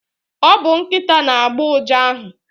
Ọ bu Nkịta na agbo uja ahụ